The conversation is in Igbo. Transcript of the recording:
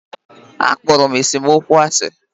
A kpọrọ m esemokwu asi